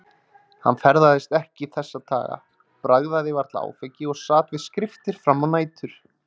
Hann ferðaðist ekki þessa daga, bragðaði varla áfengi og sat við skriftir fram á nætur.